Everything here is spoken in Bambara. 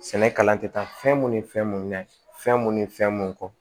Sɛnɛ kalan tɛ taa fɛn mun ni fɛn mun minɛ fɛn mun ni fɛn mun kɔ